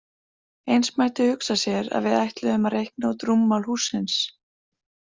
Eins mætti hugsa sér að við ætluðum að reikna út rúmmál hússins.